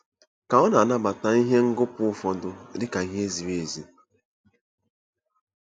Ka ọ̀ na-anabata ihe ngọpụ ụfọdụ dị ka ihe ziri ezi?